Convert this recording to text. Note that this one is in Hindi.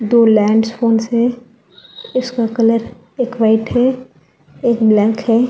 दो लैंड्स फोन्स है इसका कलर एक वाइट है एक ब्लैक है।